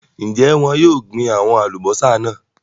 Ń jẹ́ wọn yìí ó gbin àwọn Alubọ́sá náà